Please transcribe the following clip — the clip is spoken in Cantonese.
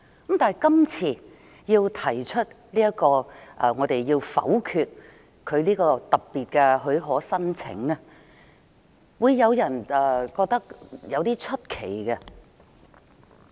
因此，今次民主派要否決律政司這項特別的許可申請，會讓人覺得有點奇怪。